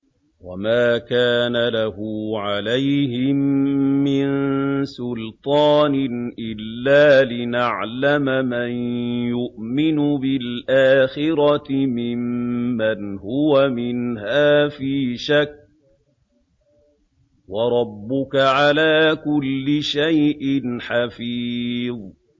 وَمَا كَانَ لَهُ عَلَيْهِم مِّن سُلْطَانٍ إِلَّا لِنَعْلَمَ مَن يُؤْمِنُ بِالْآخِرَةِ مِمَّنْ هُوَ مِنْهَا فِي شَكٍّ ۗ وَرَبُّكَ عَلَىٰ كُلِّ شَيْءٍ حَفِيظٌ